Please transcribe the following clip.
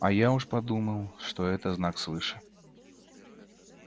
а я уж подумал что это знак свыше